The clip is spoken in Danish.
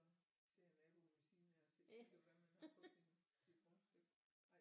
Sidder naboen ved siden af og kigger hvad man har på sin sit rundstykke ej